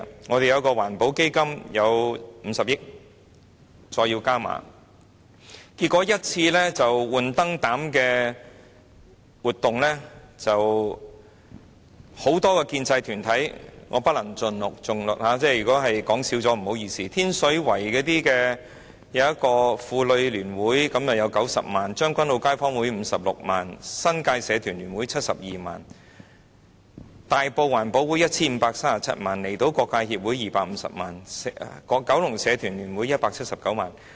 我們的一個環保基金有50億元，再要加碼，結果一次換燈泡的活動就……當中包括很多建制團體——我不能盡錄，如果漏說了便不好意思——天水圍的一個婦女聯會獲撥90萬元、將軍澳街坊聯會有56萬元、新界社團聯會有72萬元、大埔環保會有 1,537 萬元、香港離島區各界協會有250萬元、九龍社團聯會有179萬元。